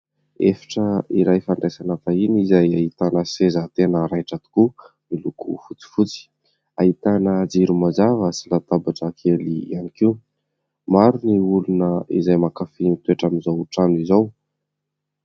Efitra iray fandraisana vahiny izay ahitana seza tena raitra tokoa miloko fotsifotsy; ahitana jiro mazava sy latabatra kely ihany koa. Maro ny olona izay mankafy mitoetra amin'izao trano izao.